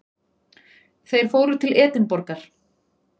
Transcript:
Þeir fóru til Edinborgar.